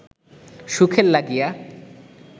সুখের লাগিয়া